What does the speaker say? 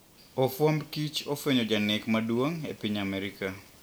ofwamb kich ofwenyo janek maduong` e piny Amerika.